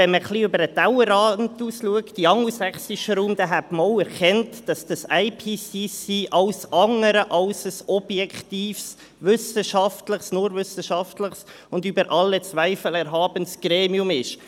Wenn man ein wenig über den Tellerrand hinaus in den angelsächsischen Raum schaute, hätte man erkannt, dass der Intergovernmental Panel on Climate Change (Weltklimarat, IPCC) alles andere als ein objektives, nur wissenschaftliches und über alle Zweifel erhabenes Gremium ist.